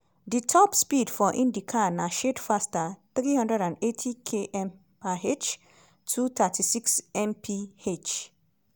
di top speed for indycar na shade faster - 380km/h (236 mph).